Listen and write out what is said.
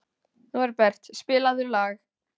Norbert, spilaðu lag.